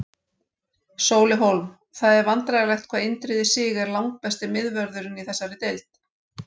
Sóli Hólm Það er vandræðalegt hvað Indriði Sig er langbesti miðvörðurinn í þessari deild.